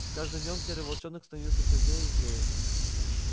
с каждым днём серый волчонок становился всё злее и злее